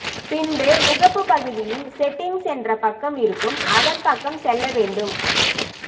பின்பு முகப்பு பகுதியில் செட்டிங்ஸ் என்ற பக்கம் இருக்கும் அதன் பக்கம் செல்ல வேண்டும்